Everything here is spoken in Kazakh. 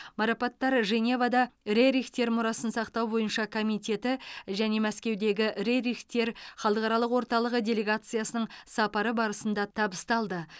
марапаттар женевада рерихтер мұрасын сақтау бойынша комитеті және мәскеудегі рерихтер халықаралық орталығы делегациясының сапары барысында табысталды